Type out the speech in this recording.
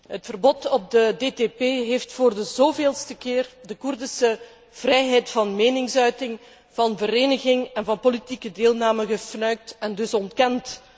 Het verbod op de DTP heeft voor de zoveelste keer de Koerdische vrijheid van meningsuiting, van vereniging en van politieke deelname gefnuikt en dus ontkend.